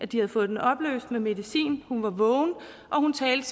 de havde fået den opløst med medicin hun var vågen og hun talte